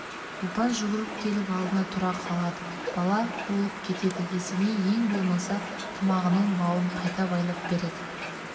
ұлпан жүгіріп келіп алдына тұра қалады бала болып кетеді есеней ең болмаса тымағының бауын қайта байлап береді